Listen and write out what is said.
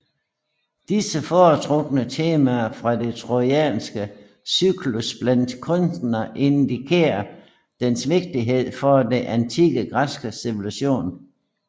Disse foretrukne temaene fra den trojanske cyklus blandt kunstnere indikerer dens vigtighed for den antikke græske civilisation